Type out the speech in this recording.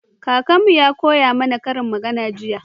Kakanmu Ya koya mana ƙarin magana jiya